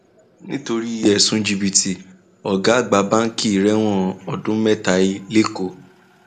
nítorí ẹsùn jìbìtì ọgá àgbà báǹkì rẹwọn ọdún mẹta he lẹkọọ